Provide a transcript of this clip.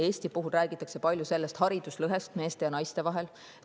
Eesti puhul räägitakse palju hariduslõhest meeste ja naiste vahel.